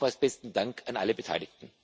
Nochmals besten Dank an alle Beteiligten.